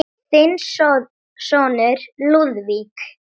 Þinn sonur, Lúðvík.